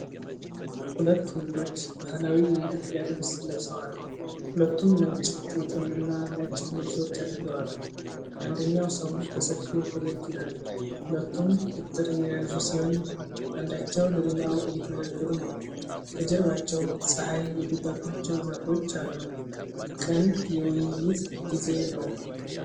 ሁለት ወንዶች ባህላዊ የኢትዮጵያ ልብስ ለብሰዋል። ሁለቱም ነጭ ጥምጥም እና ነጭ ልብሶች አድርገዋል። አንደኛው ሰው በሰፊው ፈገግ ይላል። ሁለቱም በትረ የያዙ ሲሆን አንዳቸው ለሌላው እየተነጋገሩ ነው። ከጀርባቸው ፀሐይ የገባባቸው ዛፎች አሉ። ቅን የውይይት ጊዜ ነው።